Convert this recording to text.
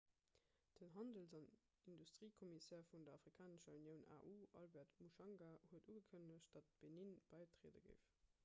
den handels- an industriekommissär vun der afrikanescher unioun au albert muchanga huet ugekënnegt datt benin bäitriede géif